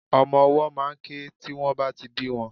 Omo owó máà ń ké tí wón bá ti bí won